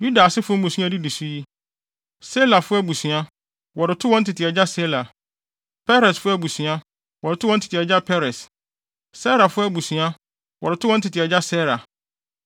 Yuda asefo mmusua a edidi so yi: Selafo abusua, wɔde too wɔn tete agya Sela; Peresfo abusua, wɔde too wɔn tete agya Peres; Serafo abusua, wɔde too wɔn tete agya Serah.